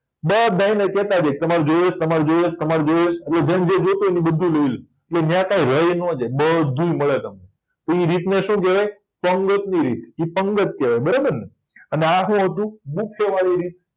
બધાયને કેતાજાય તમારે જોયે છે તમારે જોયે છે તમારે જોયે છે બધુય લય લેય કે ત્યાં કાય રયનો જાય બધુય મળે તમને તે રીતને શું કેવાય પંગતની રીત ઇ પંગત કેવાય બરાબરને અને આ શું હતું ગુફેવારી રીત